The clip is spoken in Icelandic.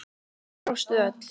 Þið brostuð öll.